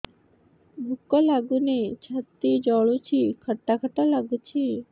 ଭୁକ ଲାଗୁନି ଛାତି ଜଳୁଛି ଖଟା ଖଟା ଲାଗୁଛି